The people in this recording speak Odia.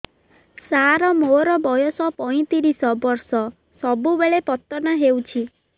ସାର ମୋର ବୟସ ପୈତିରିଶ ବର୍ଷ ସବୁବେଳେ ପତନ ହେଉଛି